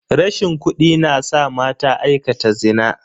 Rashin kudi na sa mata aikata zina.